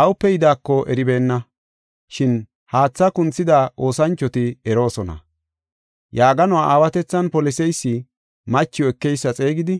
awupe yidaako eribeenna, shin haatha kunthida oosanchoti eroosona. Yaaganuwa aawatethan poliseysi machiw ekeysa xeegidi,